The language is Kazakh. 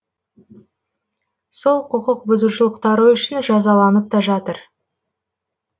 сол құқық бұзушылықтары үшін жазаланып та жатыр